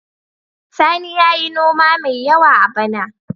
Sani ya yi noma mai yawa a bana.